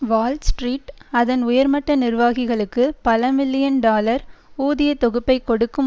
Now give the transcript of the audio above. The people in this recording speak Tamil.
வால்ஸ்ட்ரீட் அதன் உயர்மட்ட நிர்வாகிகளுக்கு பல மில்லியன் டாலர் ஊதிய தொகுப்பைக் கொடுக்கும்